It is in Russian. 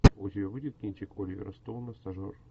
у тебя будет кинчик оливера стоуна стажер